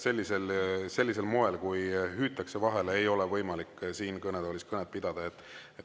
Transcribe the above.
Sellisel moel, kui hüütakse vahele, ei ole võimalik siin kõnetoolis kõnet pidada.